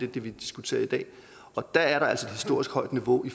det vi diskuterer i dag og der er der altså et historisk højt niveau i